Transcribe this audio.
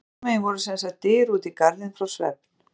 Hérna megin voru sem sagt dyr út í garðinn frá svefn